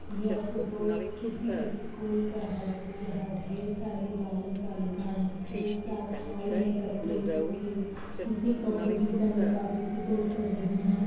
यह फोटो किसी स्कूल का है जहां ढेर सारी बालक बालिकाएं एक साथ हॉल में एकत्रित होके किसी कंपटीशन में पार्टिसिपेट कर रही हैं।